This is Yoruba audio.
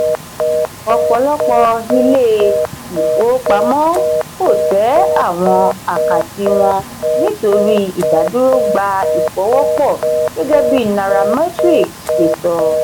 ọ̀pọ̀lọpọ̀ ilé ìfowópamọ́ kò tẹ àwọn àkátì wọn nítorí ìdádúró gba ìfọwọ́pọ̀ gẹ́gẹ́ bí nairametrics ṣe sọ.